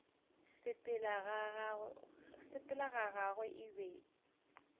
sepela ga gagwe e be